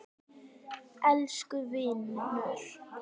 Elsku vinur!